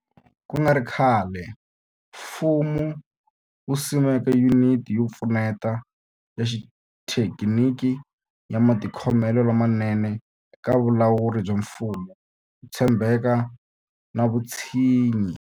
Ku nga ri khale, mfumo wu simeke Yuniti yo Pfuneta ya Xithekiniki ya Matikhomelo lamanene eka Vulawuri bya Mfumo, Ku tshembeka na Vutshinyi.